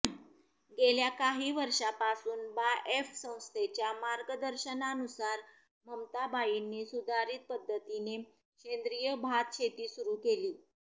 गेल्या काही वर्षांपासून बाएफ संस्थेच्या मार्गदर्शनानुसार ममताबाईंनी सुधारित पद्धतीने सेंद्रिय भात शेती सुरू केली